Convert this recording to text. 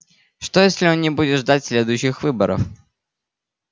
что если он не будет ждать следующих выборов